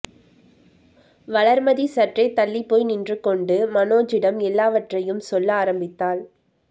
வளர்மதி சற்றே தள்ளிப் போய் நின்று கொண்டு மனோஜிடம் எல்லாவற்றையும் சொல்ல ஆரம்பித்தாள்